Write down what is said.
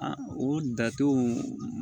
A o dato